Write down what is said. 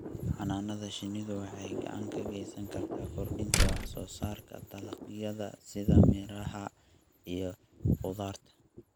Xannaanada shinnidu waxay gacan ka geysan kartaa kordhinta wax soo saarka dalagyada sida miraha iyo khudaarta.